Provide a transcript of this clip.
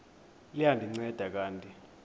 liya ndinceda kanti